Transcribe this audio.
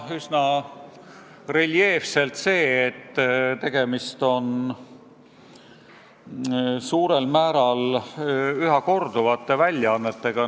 Üsna reljeefselt ilmnes ka see, et tegemist on suurel määral ühtede ja samade väljaannetega.